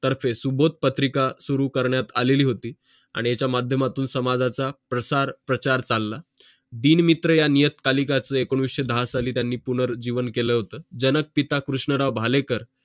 तर्फे सुबोध पत्रिका सुरु करण्यात आलेली होती आणि या माध्यमातून समाजाचा प्रसार प्रचार चालला दिनमित्र या नियतका लिकाचे एकोणविषे दहा साली त्यांनी पुनर्जीवन केलं होतं जनक पिता कृष्णराव भालेकर